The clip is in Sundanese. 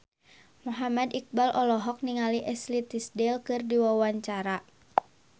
Muhammad Iqbal olohok ningali Ashley Tisdale keur diwawancara